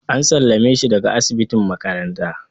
An sallame shi daga asibitin makaranta.